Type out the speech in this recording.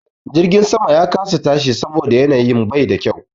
Jirgin sama ya kasa tashi saboda yanayi bai kyau.